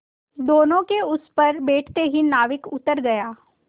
दोेनों के उस पर बैठते ही नाविक उतर गया